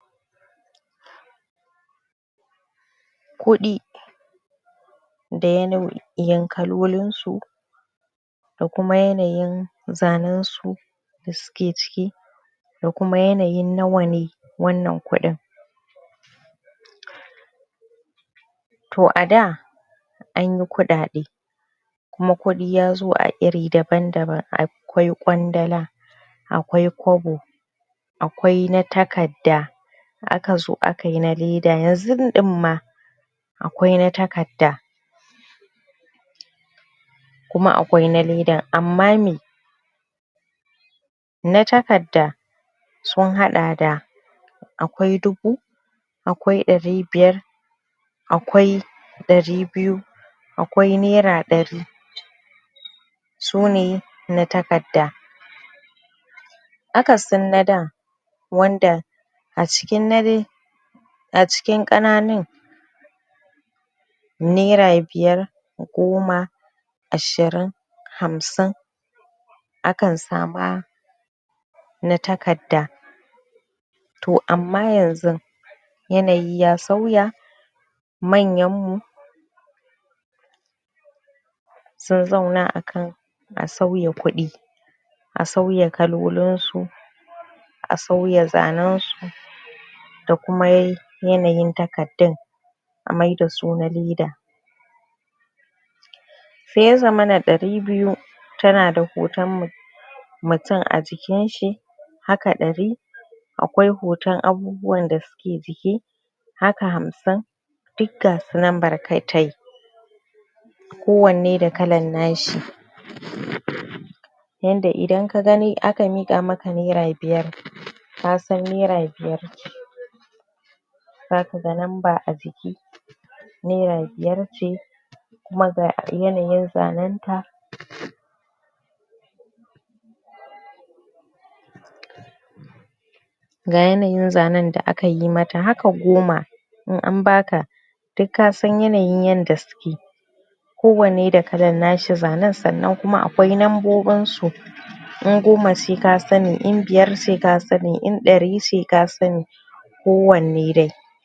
Kuɗi da yano yin kalolinsu da kuma yanayin zanen su da suke ciki da kuma yanayin nawa ne wannan kuɗin. To a da an yi kuɗaɗe kuma kuɗi ya zo a iri daban-daban, akwai ƙwandala, akwai kwabo, akwai na takadda, aka zo aka yi na leda. Yanzun ɗi ma akwai na takadda kuma akwai na ledan. Amma me na takadda sun haɗa da; akwai dubu, akwai ɗari biyar, akwai ɗari biyu, akwai naira ɗari, su ne na takadda. Akasin na da wanda a cikin na le, a cikin ƙananun naira biyar, goma, ashirin, hamsin, akan sama na takadda. To amma yanzu yanayi ya sauya manyan mu sun zauna akan a sauya kuɗi. A sauya kalolin su, a sauya zanen su, da kuma yanayin takaddun, a maida su na leda. Zai ya zaman ɗari biyu ta na da hoton mu mutum a cikin shi, haka ɗari akwai hoton abubuwan da suke ciki, haka hamsin duk ga su nan barkatai. Kowanne da kalan nashi yanda idan ka gani aka miƙa maka naira biyar, ka san naira biyar za ka ga lamba a jiki, naira biyar ce kuma ga yanayin zanen ta ga yanayin zanen da aka yi mata. Haka goma, in an baka duk ka san yanayin yanda kowannne da kalan nashi zanen, sannan kuma akwai lambobin su. In goma ce, ka sani, in biyar ce, ka sani, in ɗari ce, ka sani. Kowanne dai.